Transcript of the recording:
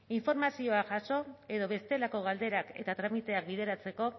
informazioa jaso edo bestelako galderak eta tramiteak bideratzeko